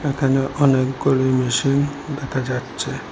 এখানে অনেকগুলি মেশিন দেখা যাচ্ছে।